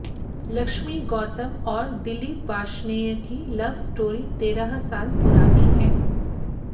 लक्ष्मी गौतम और दिलीप वार्ष्णेय की love story तेरह साल पुरानी है